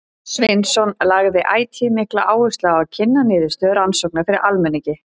Sveinsson lagði ætíð mikla áherslu á að kynna niðurstöður rannsókna fyrir almenningi.